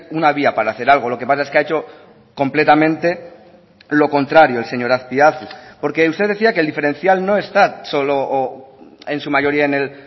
una vía para hacer algo lo que pasa es que ha hecho completamente lo contrario el señor azpiazu porque usted decía que el diferencial no está solo o en su mayoría en el